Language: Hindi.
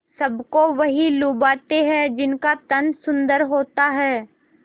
सबको वही लुभाते हैं जिनका तन सुंदर होता है